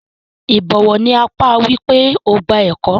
Ìbọ̀wọ̀ ni àpá wipe o gba ẹkọ.